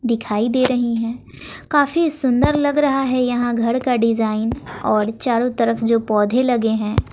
दिखाई दे रही है काफी सुंदर लग रहा है यहां घर का डिजाइन और चारों तरफ जो पौधे लगे हैं।